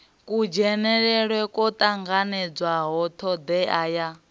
kudzhenele kwo tanganelaho thodea ya